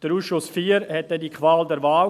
Der Ausschuss IV hatte dann die Qual der Wahl;